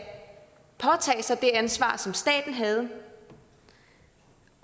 påtage sig det ansvar som staten havde